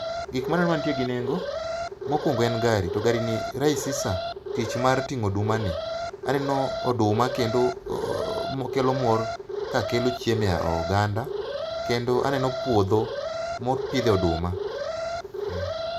Gikma aneno matie gi nengo mokuongo en gari to gari ni rahisisha tich mar tingo oduma ni. Aneno oduma ni kendo kelo mor kakelo chiemo e oganda kendo aneno puodho mopidhe oduma